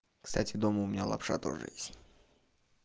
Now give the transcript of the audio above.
кстати дома у меня лапша тоже есть